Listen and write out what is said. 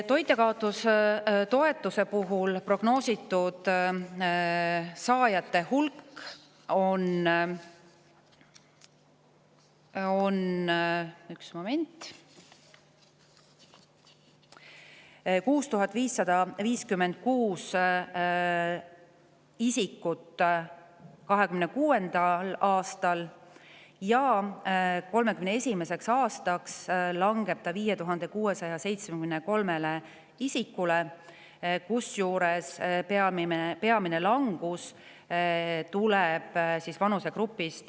Toitjakaotustoetuse prognoositud saajate hulk on 2026. aastal 6556 inimest ja 2031. aastaks langeb see arv 5673-ni, peamine langus tuleb 21–23-aastaste vanusegrupis.